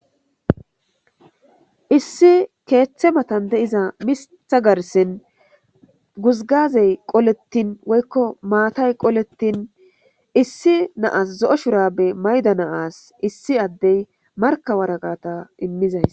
Issi keeththe matan deiza mita garsin guzgazey qolettin woykko maatay qolettin issi naas zo'o shurabe mayda naas issi addey markawaragata immizays